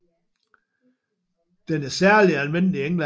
Den er særlig almindelig i England